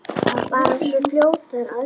Bara svona fljót að öllu.